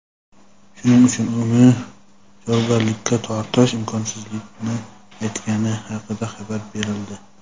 shuning uchun uni javobgarlikka tortish imkonsizligini aytgani haqida xabar berildi.